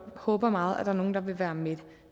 håber meget at der er nogle der vil være med